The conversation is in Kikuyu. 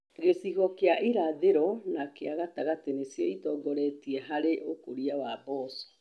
Gĩcigo kĩa irathĩro na kĩa gatagatĩ nĩcio ĩtongoretie harĩ ũkũria wa mboco.